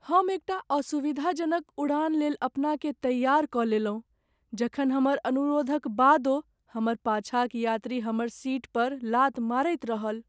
हम एकटा असुविधाजनक उड़ान लेल अपनाकेँ तैयार कऽ लेलहुँ जखन हमर अनुरोधक बादो हमर पाछाँक यात्री हमर सीट पर लात मारैत रहल।